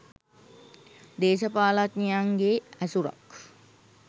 දේශපාලනඥයන්ගේ ඇසුරක්